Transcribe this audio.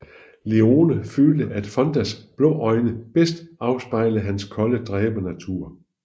Leone følte at Fondas blå øjne bedst afspejlede hans kolde dræbernatur